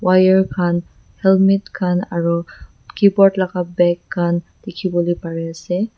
wire khan helmet khan aro keyboard laka bag khan dikhiwolae parease.